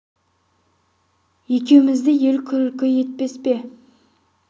екеумізді ел күлкі етпес пе екен осы деп еді ербол мұны өз басы үшін емес абайдың